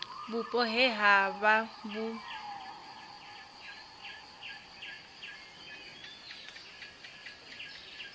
vhupo he ha vha vhu